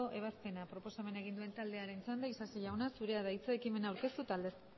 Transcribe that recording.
ebazpena proposamena egin duen taldearen txanda isasi jauna zurea da hitza ekimena aurkeztu eta aldezteko